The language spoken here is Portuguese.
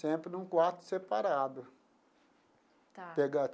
Sempre num quarto separado. Tá.